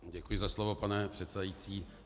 Děkuji za slovo, pane předsedající.